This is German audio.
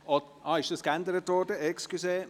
Ach so, es hat eine Änderung gegeben.